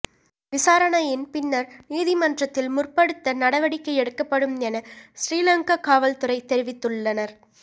விசாரணையின் பின்னர் நீதிமன்றத்தில் முற்படுத்த நடவடிக்கை எடுக்கப்படும் என சிறிலங்கா காவல்துறை தெரிவித்துள்ளனர்